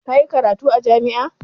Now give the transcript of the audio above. Ka yi karatu a jami'a?